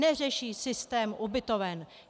Neřeší systém ubytoven.